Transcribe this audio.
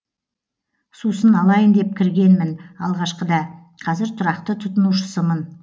сусын алайын деп кіргенмін алғашқыда қазір тұрақты тұтынушысымын